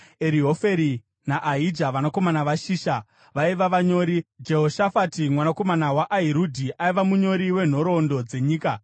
Erihorefi naAhija, vanakomana vaShisha vaiva vanyori; Jehoshafati mwanakomana waAhirudhi aiva munyori wenhoroondo dzenyika;